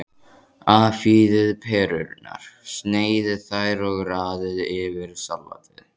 Afhýðið perurnar, sneiðið þær og raðið yfir salatið.